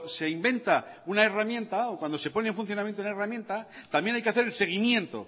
se inventa una herramienta o cuando se pone en funcionamiento una herramienta también hay que hacer el seguimiento